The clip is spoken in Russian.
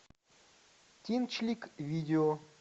тинчлик видео